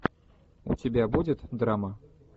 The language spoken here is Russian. у тебя будет драма